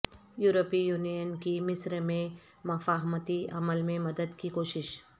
یورپی یونین کی مصر میں مفاہمتی عمل میں مدد کی کوشش